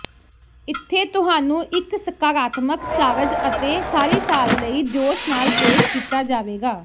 ਇੱਥੇ ਤੁਹਾਨੂੰ ਇੱਕ ਸਕਾਰਾਤਮਕ ਚਾਰਜ ਅਤੇ ਸਾਰੀ ਸਾਲ ਲਈ ਜੋਸ਼ ਨਾਲ ਪੇਸ਼ ਕੀਤਾ ਜਾਵੇਗਾ